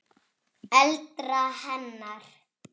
eldra hennar.